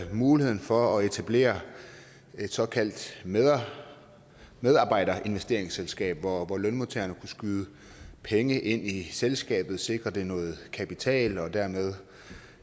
muligheden for at etablere et såkaldt medarbejderinvesteringsselskab hvor lønmodtagerne kunne skyde penge ind i selskabet sikre det noget kapital og dermed